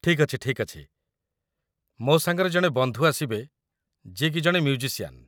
ଠିକ୍ ଅଛି, ଠିକ୍ ଅଛି । ମୋ ସାଙ୍ଗରେ ଜଣେ ବନ୍ଧୁ ଆସିବେ ଯିଏ କି ଜଣେ ମ୍ୟୁଜିସିଆନ୍ ।